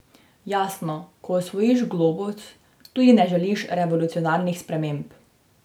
Jasno, ko osvojiš globus, tudi ne želiš revolucionarnih sprememb.